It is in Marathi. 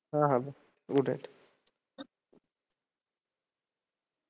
हां हां bye good night